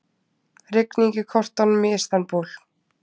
Rigning í kortunum í Istanbúl